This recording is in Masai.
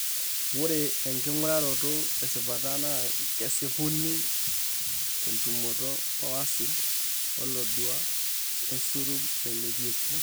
Ore enking'uraroto tesipata naa kesipuni tentumoto oacidi olodua eserum nailepieki.